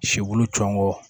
Sikulu cɔ